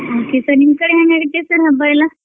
Okay sir ನಿಮ್ಕಡೆ ಹೆಂಗ್ ನಡಿತೈತೆ sir ಹಬ್ಬ ಎಲ್ಲಾ.